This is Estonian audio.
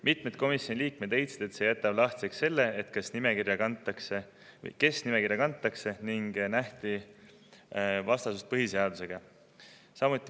" Mitmed komisjoni liikmed leidsid, et see jätab lahtiseks selle, kes nimekirja kantakse, ja et see on vastuolus põhiseadusega.